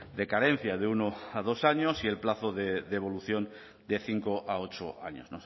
de carencia de uno a dos años y el plazo de devolución de cinco a ocho años